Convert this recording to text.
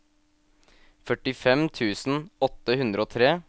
førtifem tusen åtte hundre og tre